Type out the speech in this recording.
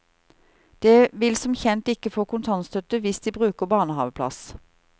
De vil som kjent ikke få kontantstøtte hvis de bruker barnehaveplass.